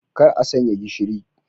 Kar a sanya gishiri.